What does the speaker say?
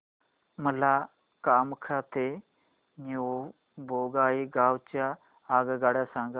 मला कामाख्या ते न्यू बोंगाईगाव च्या आगगाड्या सांगा